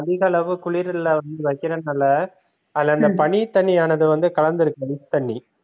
அதிக அளவு குளிருல வந்து வைக்கிறதுனால அதுல அந்தப் பனித்தண்ணீ வந்து கலந்ததுருது mix பண்ணி